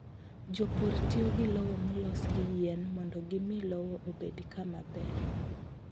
Jopur tiyo gi lowo molos gi yien mondo gimi lowo obed kama ber.